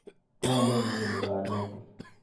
Pwone inguni kanetik.